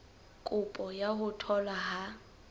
kopo ya ho tholwa ha